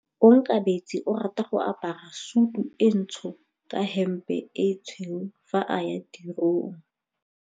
Onkabetse o rata go apara sutu e ntsho ka hempe e tshweu fa a ya tirong.